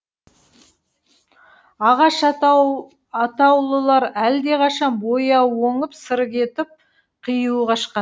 ағаш атаулылар әлдеқашан бояуы оңып сыры кетіп қиюы қашқан